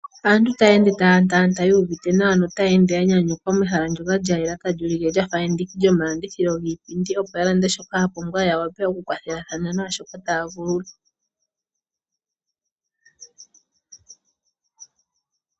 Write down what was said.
Aantu taya ende taya tala notaya iyuvitha nawa, notaya ende ya nyanyukwa mehala ndyoka lya yela tali ulike lya fa endiki lyomalandithilo giipindi, opo ya lande shoka ya pumbwa ya wape okukwathelathana nawa naashoka taya vulu.